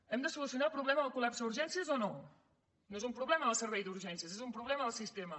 hem de solucionar el problema del col·lapse a urgències o no no és un problema del servei d’urgències és un problema del sistema